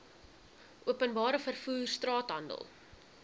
openbare vervoer straathandel